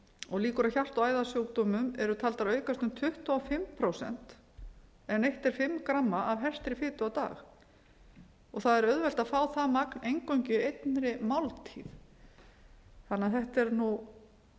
og líkur á hjarta og æðasjúkdómum eru taldar aukast um tuttugu og fimm prósent ef neytt er fimm gramma af hertri fitu á dag það er auðvelt að fá það magn eingöngu í einni máltíð þannig að þetta er